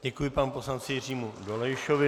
Děkuji panu poslanci Jiřímu Dolejšovi.